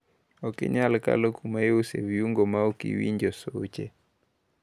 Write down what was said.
Okinyal kalo kumaiusoe viungo maok iwinjo suche.